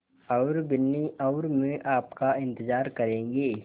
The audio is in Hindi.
और बिन्नी और मैं आपका इन्तज़ार करेंगे